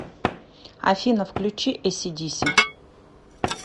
афина включи эси диси